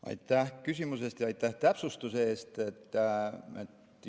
Aitäh küsimuse eest ja aitäh täpsustuse eest!